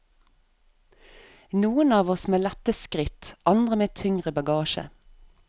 Noen av oss med lette skritt, andre med tyngre bagasje.